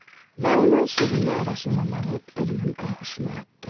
Və onu sevimli ailəsindən alıb ölümün ağuşuna atdı.